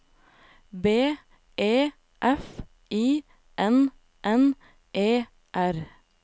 B E F I N N E R